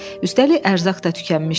Üstəlik ərzaq da tükənmişdi.